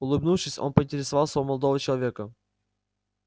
улыбнувшись он поинтересовался у молодого человека